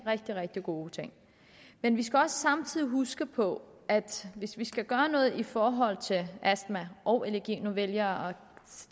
rigtig rigtig gode ting men vi skal også samtidig huske på at hvis vi skal gøre noget i forhold til astma og allergi nu vælger